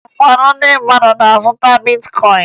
Ụfọdụ ndị mmadụ na-azụta bitkọyịn